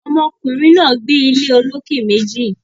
Ọmọ kùnrin náà gbé ilé olókè méjì